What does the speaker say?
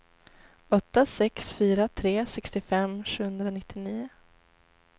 åtta sex fyra tre sextiofem sjuhundranittionio